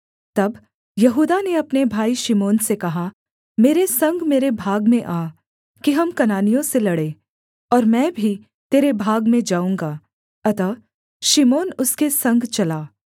तब यहूदा ने अपने भाई शिमोन से कहा मेरे संग मेरे भाग में आ कि हम कनानियों से लड़ें और मैं भी तेरे भाग में जाऊँगा अतः शिमोन उसके संग चला